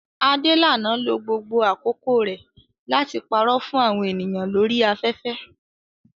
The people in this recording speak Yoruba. Adelana lo gbogbo àkókò rẹ̀ láti parọ́ fún àwọn ènìyàn lórí afẹ́fẹ́